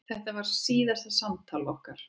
Þetta var síðasta samtal okkar.